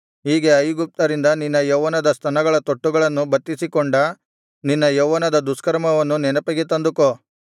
ಹೀಗೆ ಐಗುಪ್ತ್ಯರಿಂದ ನಿನ್ನ ಯೌವನದ ಸ್ತನಗಳ ತೊಟ್ಟುಗಳನ್ನು ಬತ್ತಿಸಿಕೊಂಡ ನಿನ್ನ ಯೌವನದ ದುಷ್ಕರ್ಮವನ್ನು ನೆನಪಿಗೆ ತಂದುಕೋ